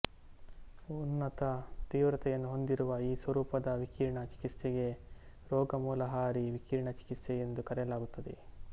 ಉನ್ನತ ತೀವ್ರತೆಯನ್ನು ಹೊಂದಿರುವ ಈ ಸ್ವರೂಪದ ವಿಕಿರಣ ಚಿಕಿತ್ಸೆಗೆ ರೋಗಮೂಲಹಾರಿ ವಿಕಿರಣ ಚಿಕಿತ್ಸೆ ಎಂದು ಕರೆಯಲಾಗುತ್ತದೆ